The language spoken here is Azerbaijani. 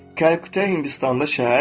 Kalkuta Hindistanda şəhər,